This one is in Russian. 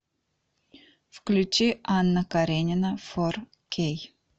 включи анна каренина фор кей